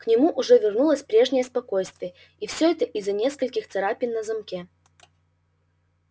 к нему уже вернулось прежнее спокойствие и всё это из-за нескольких царапин на замке